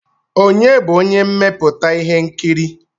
Ònye bụ onye mmepụta ihe nkiri?